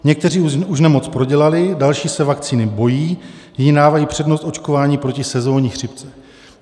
Někteří už nemoc prodělali, další se vakcíny bojí, jiní dávají přednost očkování proti sezónní chřipce.